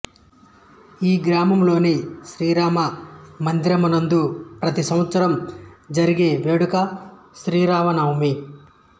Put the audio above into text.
ఈ గ్రామంలోని శ్రీ రామ మందిరమునందు ప్రతి సంవత్సరం జరిగే వేడుక శ్రీరామనవమి